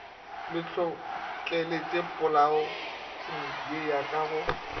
le tlhohleletšopolaong ye ka go